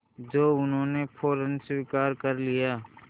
जो उन्होंने फ़ौरन स्वीकार कर लिया